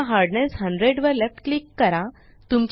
पुन्हा हार्डनेस 100 वर left click करा